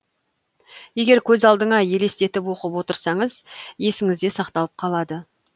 егер көз алдыңа елестетіп оқып отырсаңыз есіңізде сақталып қалады